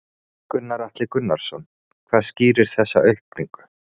Gunnar Atli Gunnarsson: Hvað skýrir þessa aukningu?